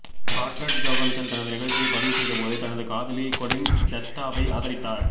scarlet Johansson தனது நிகழ்ச்சியை பதிவுசெய்தபோது தனது காதலி கொலின் ஜஸ்டாவை ஆதரித்தார்